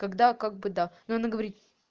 когда как бы да но она говорит